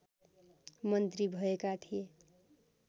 मन्त्री भएका थिए